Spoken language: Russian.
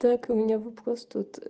так у меня вопрос тут